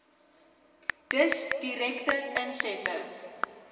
dus direkte insette